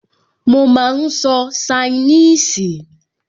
Mo máa n sọ ṣainíìsì